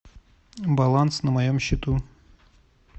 баланс на моем счету